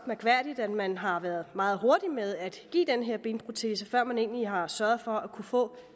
mærkværdigt at man har været meget hurtig med at give den her benprotese før man egentlig har sørget for at få